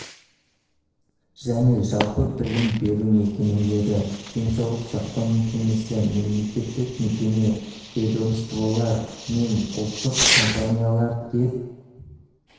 және жалпы білім беру мекемелері денсаулық сақтау мекемесі мемлекеттік мекеме ведомстволар мен ұлттық компаниялар деп